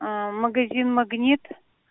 магазин магнит